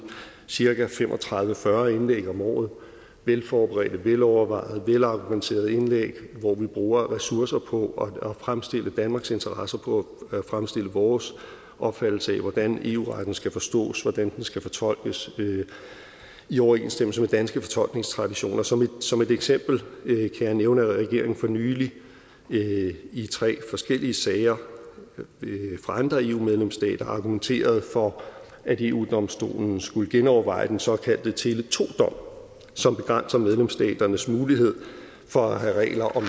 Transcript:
cirka fem og tredive til fyrre indlæg om året velforberedte velovervejede velargumenterede indlæg hvor vi bruger ressourcer på at fremstille danmarks interesser og på at fremstille vores opfattelse af hvordan eu retten skal forstås og hvordan den skal fortolkes i overensstemmelse med danske fortolkningstraditioner som som et eksempel kan jeg nævne at regeringen for nylig i tre forskellige sager fra andre eu medlemsstater argumenterede for at eu domstolen skulle genoverveje den såkaldte tele2 dom som begrænser medlemsstaternes mulighed for at have regler om